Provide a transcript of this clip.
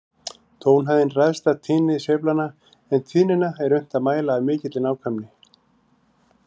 Tónhæðin ræðst af tíðni sveiflanna, en tíðnina er unnt að mæla af mikilli nákvæmni.